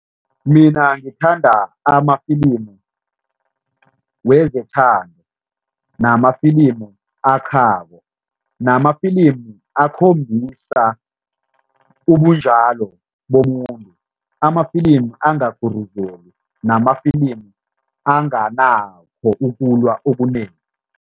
Mina ngithanda amafilimu wezethando namafilimu akhako namafilimu akhombisa ubunjalo bomuntu, amafilimu angaguruzeli namafilimu anganakho ukulwa okunengi.